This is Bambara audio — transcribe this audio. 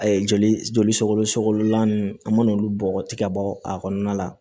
A ye joli joli sogolo sogolo la nunnu an mana olu bɔgɔ tigɛ ka bɔ a kɔnɔna la